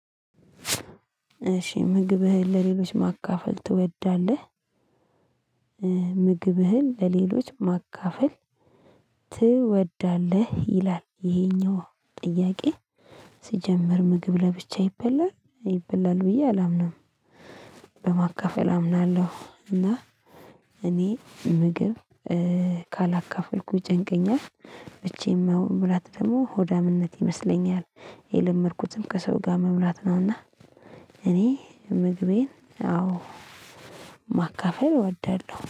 እሺ ምግብህን ለሌሎች ማካፈል ትወዳለህ? ምግብህን ለሌሎች ማካፈል ትወዳለህ? ይላል ይሄኛው ጥያቄ ሲጀምር ምግብ ለብቻ ይበላል ይበላል ብዬ አላምንም። በማካፈል አምናለሁ እና። እኔ ምግብ ካላካፈልኩኝ ይጨንቀኛል ብቻዬን መብላት ደግሞ ሆዳምነት ይመስለኛል። የለመድኩትም ከሰው ጋር መብላት ነውና። እኔ ምግቤን አዎ ማካፈል እወዳለሁ